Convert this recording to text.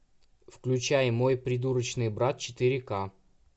включай мой придурочный брат четыре к